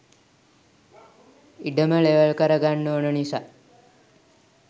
ඉඩම ලෙවල් කර ගන්න ඕන නිසා